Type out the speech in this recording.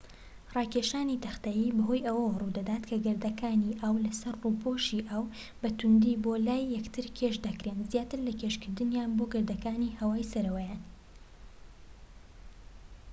راکێشانی تەختەیی بەهۆی ئەوە روودەدات کە گەردەکان ئاو لە سەر ڕووپۆشی ئاو بە تووندی بۆ لای یەکتر کێش دەکرێن زیاتر لە کێشکردنیان بۆ گەردەکانی هەوای سەرەوەیان